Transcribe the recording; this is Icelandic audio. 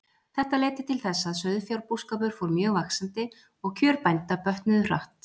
Þetta leiddi til þess að sauðfjárbúskapur fór mjög vaxandi, og kjör bænda bötnuðu hratt.